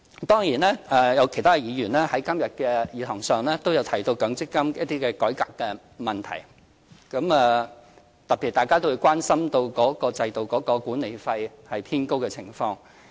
當然，有其他議員今天在議事堂上都提到強積金改革問題，特別是大家都關心管理費偏高的情況。